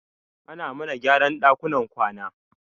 Ana mana gyaran ɗakunan kwana